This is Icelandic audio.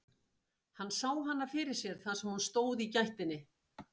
Hann sá hana fyrir sér þar sem hún stóð í gættinni.